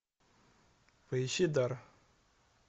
поищи дар